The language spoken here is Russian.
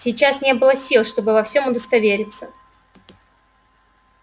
сейчас не было сил чтобы во всём удостовериться